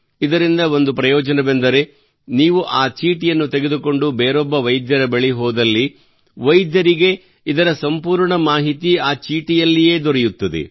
ಇದರಿಂದ ಒಂದು ಪ್ರಯೋಜನವೆಂದರೆ ನೀವು ಆ ಚೀಟಿಯನ್ನು ತೆಗೆದುಕೊಂಡು ಬೇರೊಬ್ಬ ವೈದ್ಯರ ಬಳಿಗೆ ಹೋದಲ್ಲಿ ವೈದ್ಯರಿಗೆ ಇದರ ಸಂಪೂರ್ಣ ಮಾಹಿತಿ ಆ ಚೀಟಿಯಲ್ಲಿಯೇ ದೊರೆಯುತ್ತದೆ